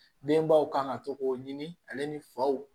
Denbaw kan ka to k'o ɲini ale ni faw